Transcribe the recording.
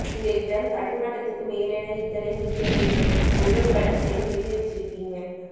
இந்த இடம் கடல் மட்ட்த்துக்கு மேலெ இத்தனை மீட்டர்ன்னு ஒவ்வொரு கட்டத்திலியும் எழுதி வசிசிருக்கீஙக்